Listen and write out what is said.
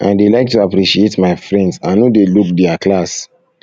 i dey like to appreciate my friends i no dey look their class